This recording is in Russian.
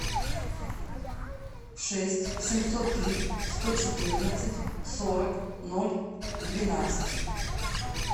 шесть семьсот три сто четырнадцать сорок ноль двенадцать